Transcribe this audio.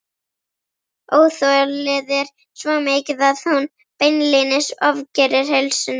Óþolið er svo mikið að hún beinlínis ofgerir heilsunni.